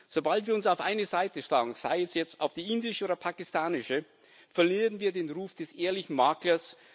Sobald wir uns auf eine Seite schlagen sei es jetzt auf die indische oder die pakistanische verlieren wir den Ruf des ehrlichen Maklers.